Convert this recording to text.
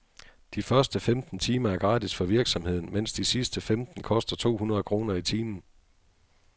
De første femten timer er gratis for virksomheden, mens de sidste femten koster to hundrede kroner i timen.